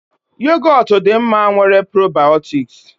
Yogotu dị mma nwere probiotics